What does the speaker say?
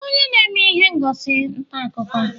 Ị bụ onye na-eme ihe ngosi ntaakụkọ?